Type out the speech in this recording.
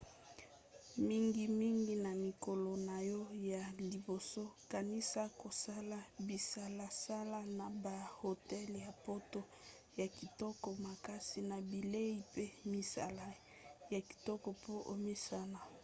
mingimingi na mikolo na yo ya liboso kanisa kosala bisalasala na bahotel ya poto ya kitoko makasi na bilei pe misala ya kitoko po omesana